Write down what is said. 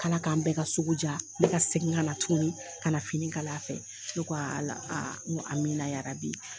K'Ala k'an bɛ ka sugu ja, ne ka segin ka na tuguni, ka na fini kala fɛ, ne ko ala a amina yarabi.